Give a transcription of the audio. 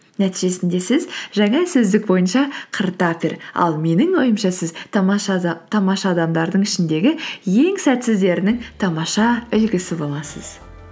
нәтижесінде сіз жаңа сөздік бойынша қыртафер ал менің ойымша сіз тамаша адамдардың ішіндегі ең сәтсіздерінің тамаша үлгісі боласыз